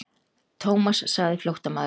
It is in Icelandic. Thomas sagði flóttamaðurinn.